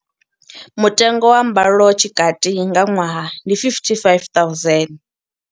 Mutengo wa mbalo tshikati nga ṅwaha ndi R55 000.